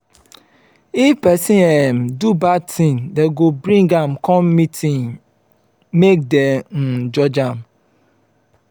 if pesin um do bad tin dem go bring am come meeting make dem um judge am.